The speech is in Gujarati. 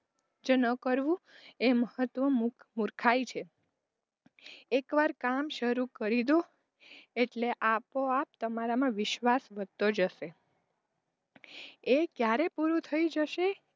જે ન કરવું એ મહત્વ મૂર્ખાઈ છે એકવાર કામ શરૂ કરી દો એટલે આપોઆપ તમારામાં વિશ્વાસ વધતો જસે એ ક્યારે પૂરું થય જશે,